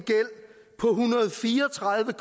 hundrede og fire og tredive